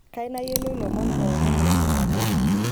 kayieu nayiloi lomon pokin le sofapaka